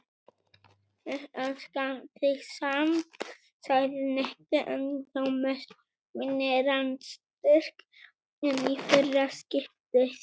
Ég elska þig samt sagði Nikki en þó með minni raddstyrk en í fyrra skiptið.